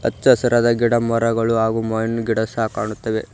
ಹಚ್ಚ ಹಸಿರಾದ ಗಿಡಮರಗಳು ಹಾಗು ಮಾವಿನ ಗಿಡ ಸಹ ಕಾಣಿಸುತ್ತಿವೆ.